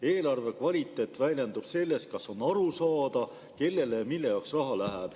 Eelarve kvaliteet väljendub selles, kas on aru saada, kellele ja mille jaoks raha läheb.